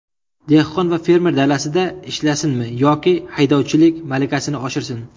Dehqon va fermer dalasida ishlasinmi yoki haydovchilik malakasini oshirsin?.